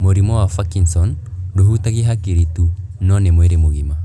Mũrimũ wa Parkinson ndũhutagia hakiri tu, no nĩ mwĩrĩ mũgima